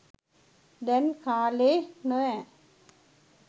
දැන් කාලෙ නොවැ